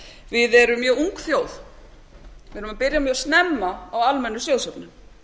við erum mjög ung þjóð við erum að byrja mjög snemma á almennri sjóðsöfnun